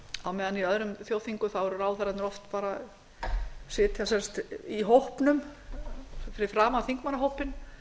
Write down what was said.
á meðan í öðrum þjóðþingum sitja ráðherrarnir oft bara í hópnum fyrir framan þingmannahópinn